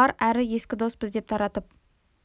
бар әрі ескі доспыз деп таратып